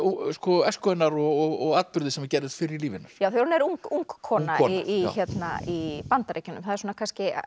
æsku hennar og atburði sem gerðust fyrr í lífi hennar já þegar hún er ung kona kona í Bandaríkjunum það er kannski